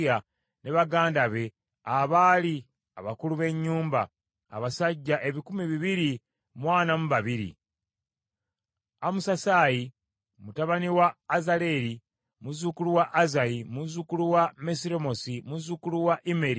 ne baganda be, abaali abakulu b’ennyumba; abasajja ebikumi bibiri mu ana mu babiri (242); Amasusaayi mutabani wa Azaleri, muzzukulu wa Azayi, muzzukulu wa Mesiremoosi, muzzukulu wa Immeri,